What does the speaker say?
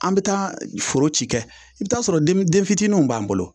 An be taa foro ci kɛ i bi t'a sɔrɔ den mi denfitininw b'an bolo